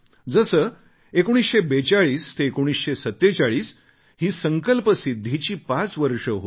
जसे 1942 ते 1947 हे संकल्पसिद्धीचे पाच वर्ष होते